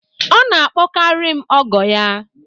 Ọ na-akpọkarị m ọgọ ya